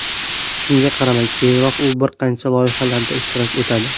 Shunga qaramay, keyinroq u bir qancha loyihalarda ishtirok etadi.